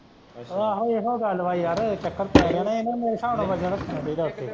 ਆਹੋ ਏਹੋ ਗੱਲ ਵਾ ਯਾਰ ਚੱਕਰ ਪੈ ਗਿਆ ਨਾ ਮੇਰੇ ਸਾਬ ਨਾਲ ਵਜਨ ਰੱਖਣਾ ਚਾਹੀਦਾ ਵਾ ਉੱਥੇ।